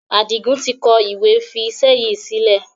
Adigun tí kọ ìwé fi iṣẹ́ yìí sílẹ̀.